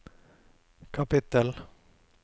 kapittel